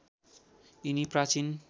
यिनी प्राचीन